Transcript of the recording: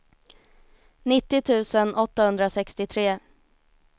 nittio tusen åttahundrasextiotre